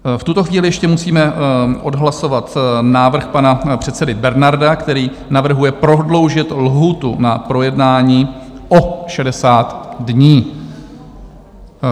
V tuto chvíli ještě musíme odhlasovat návrh pana předsedy Bernarda, který navrhuje prodloužit lhůtu na projednání o 60 dní.